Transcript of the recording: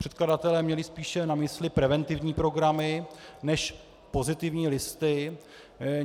Předkladatelé měli spíše na mysli preventivní programy než pozitivní listy.